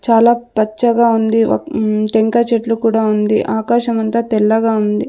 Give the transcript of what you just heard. చాలా పచ్చగా ఉంది వక్ హ్మ్ టెంకాయ చెట్లు కూడా ఉంది ఆకాశం అంతా తెల్లగా ఉంది.